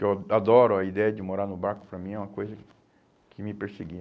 Que eu adoro a ideia de morar no barco, para mim é uma coisa que me perseguia.